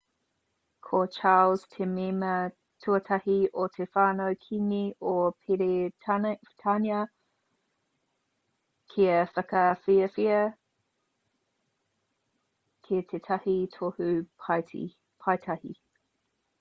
ko charles te mema tuatahi o te whānau kīngi o peretānia kia whakawhiwhia ki tētahi tohu paetahi